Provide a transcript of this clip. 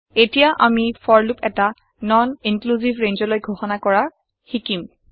এটিয়া আমি for loop এটা নন ইন্ক্লিউচিভ ৰেঞ্জলৈ ঘোষণা কৰা হিকিম